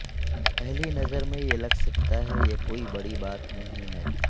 پہلی نظر میں یہ لگ سکتا ہے یہ کوئی بڑی بات نہیں ہے